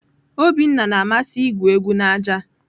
Obinna na-amasị igwu egwu na aja.